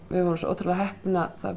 við vorum svo ótrúlega heppin að það